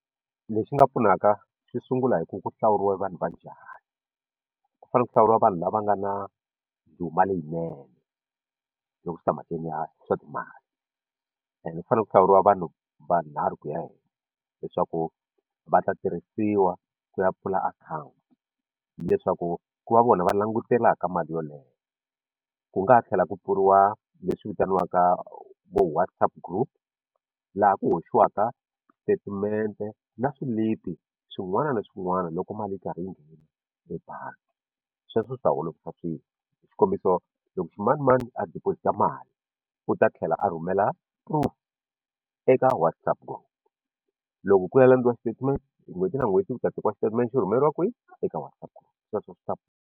Lexi nga pfunaka swi sungula hi ku ku hlawuriwa vanhu va njhani ku fanele ku hlawuriwa vanhu lava nga na ndhuma leyinene loko swi ta emhakeni ya swa timali and ku fanele ku hlawuriwa vanhu vanharhu ku ya ehenhla leswaku va ta tirhisiwa ku ya pfula akhawunti leswaku ku va vona va langutelaka mali yoleyo ku nga ha tlhela kupfuriwa leswi vitaniwaka vo WhatsApp group laha ku hoxiwaka statement na swilipi swin'wana na swin'wana loko mali yi karhi yi nghena ebangi sweswo swi ta olovisa swilo xikombiso loko ximanimani a deposit-a mali u ta tlhela a rhumela proof eka WhatsApp group loko ku ya landziwa statement hi n'hweti na n'hweti ku ta tekiwa xitatimende rhumeriwa kwihi eka WhatsApp group sweswo swi ta.